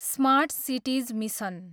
smart cities mission